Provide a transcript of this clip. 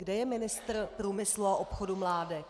Kde je ministr průmyslu a obchodu Mládek?